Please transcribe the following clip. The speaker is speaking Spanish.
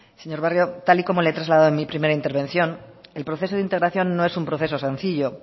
señor barrio tal y como le he trasladado en mi primera intervención el proceso de integración no es un proceso sencillo